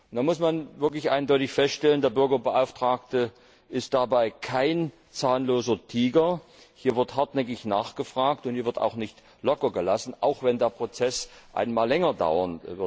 Man muss wirklich eindeutig feststellen, der Bürgerbeauftragte ist dabei kein zahnloser Tiger Hier wird hartnäckig nachgefragt und nicht locker gelassen, auch wenn der Prozess einmal länger dauert.